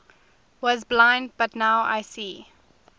was blind but now see